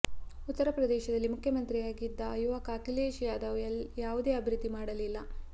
ಉತ್ತರ ಪ್ರದೇಶದಲ್ಲಿ ಮುಖ್ಯಮಂತ್ರಿಯಾಗಿದ್ದ ಯುವಕ ಅಖಿಲೇಶ್ ಯಾದವ್ ಯಾವುದೇ ಅಭಿವೃದ್ಧಿ ಮಾಡಲಿಲ್ಲ